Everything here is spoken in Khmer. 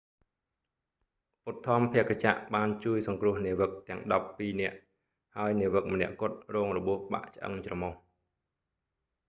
ឧទ្ធម្ភាគចក្របានជួយសង្គ្រោះនាវិកទាំងដប់ពីរនាក់ ហើយនាវិកម្នាក់គត់រងរបួសបាក់ឆ្អឹងច្រមុះ